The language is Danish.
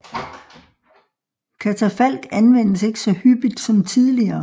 Katafalk anvendes ikke så hyppigt som tidligere